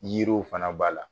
yiriw fana b'a la